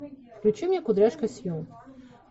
включи мне кудряшка сью